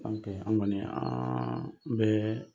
an kɔni an bɛ